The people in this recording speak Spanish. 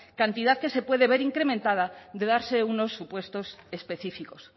cantidad que se puede ver incrementada de darse unos supuestos específicos